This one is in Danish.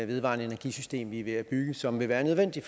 vedvarende energi system vi er ved at bygge som vil være nødvendig